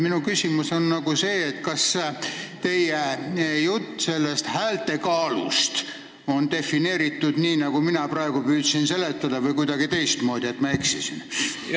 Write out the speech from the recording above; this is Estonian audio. Minu küsimus on see: kas teie jutt sellest häälte kaalust on defineeritud nii, nagu mina praegu püüdsin seletada, või on kuidagi teistmoodi ja ma eksisin?